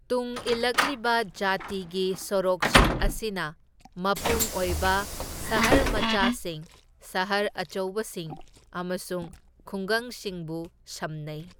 ꯇꯨꯡ ꯏꯂꯛꯂꯤꯕ ꯖꯥꯇꯤꯒꯤ ꯁꯣꯔꯣꯛꯁꯤꯡ ꯑꯁꯤꯅ ꯃꯄꯨꯡ ꯑꯣꯏꯕ ꯁꯍꯔ ꯃꯆꯥꯁꯤꯡ, ꯁꯍꯔ ꯑꯆꯧꯕꯁꯤꯡ ꯑꯃꯁꯨꯡ ꯈꯨꯡꯒꯪꯁꯤꯡꯕꯨ ꯁꯝꯅꯥꯩ꯫